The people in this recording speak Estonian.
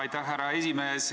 Aitäh, härra esimees!